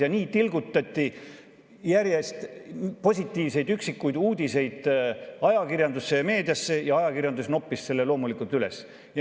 Ja nii tilgutati järjest üksikuid positiivseid uudiseid ajakirjandusse, meediasse, ja ajakirjandus noppis need loomulikult üles.